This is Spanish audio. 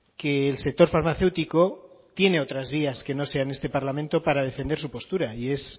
que el sector farmacéutico tiene otras vías que no sean este parlamento para defender su postura y es